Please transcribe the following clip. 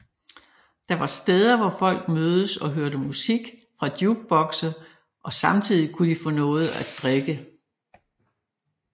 Det var steder hvor folk mødes og hørte musik fra jukebokse og samtidig kunne de få noget at drikke